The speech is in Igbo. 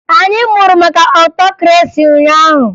Anyị mụrụ maka ọtokresi ụnyaahụ